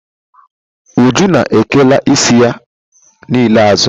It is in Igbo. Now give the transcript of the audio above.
Uju na ekela isi ya niile azụ.